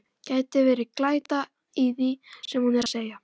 Gæti verið glæta í því sem hún er að segja.